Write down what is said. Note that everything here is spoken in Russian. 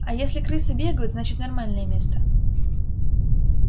а если крысы бегают значит нормальное место